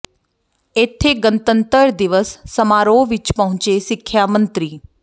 ਇਥੇ ਗਣਤੰਤਰ ਦਿਵਸ ਸਮਾਰੋਹ ਵਿੱਚ ਪਹੁੰਚੇ ਸਿੱਖਿਆ ਮੰਤਰੀ ਡਾ